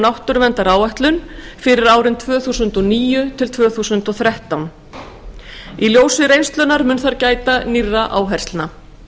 náttúruverndaráætlun fyrir árin tvö þúsund og níu til tvö þúsund og þrettán fyrir alþingi í ljósi reynslunnar mun þar gæta nýrra áherslna